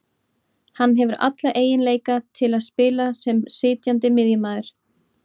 Hann hefur alla eiginleika til að spila sem sitjandi miðjumaður